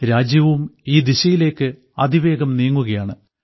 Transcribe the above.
രാജ്യവും ഈ ദിശയിലേക്ക് അതിവേഗം നീങ്ങുകയാണ്